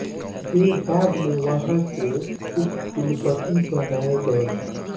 वे बाद में वहाँ के उपकुलपति बनाये गए